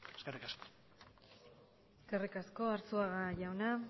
eskerrik asko eskerrik asko arzuaga jauna